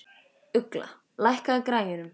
Ugla, lækkaðu í græjunum.